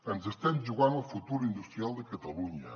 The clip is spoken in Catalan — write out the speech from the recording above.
ens estem jugant el futur industrial de catalunya